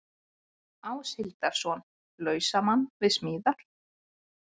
Áshildarson, lausamann við smíðar.